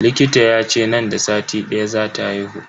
Likita yace nan da sati daya zata haihu.